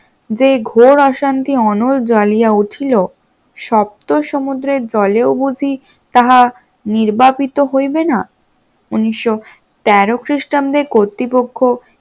যে ঘোর অশান্তি অনর জালিয়া উঠিল সপ্ত সমুদ্রের জলেও বধি তাহা নির্বাপিত হইবে না, উনিশশ তেরো খ্রিস্টাব্দে কর্তৃপক্ষ